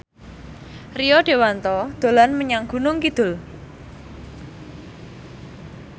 Rio Dewanto dolan menyang Gunung Kidul